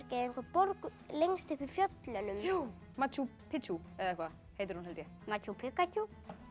einhverja borg lengst uppi í fjöllunum machu Pitju eða eitthvað heitir hún held ég machu